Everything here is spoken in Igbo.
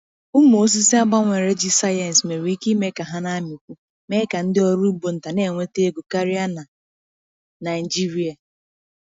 Umụ osisi a gbanwere ji sayensị nwere ike ime ka ha na-amịkwu, mee ka ndị ọrụ ugbo nta na-enweta ego karịa na Naịjirịa.